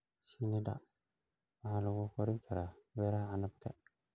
Shinnida waxaa lagu korin karaa beeraha canabka.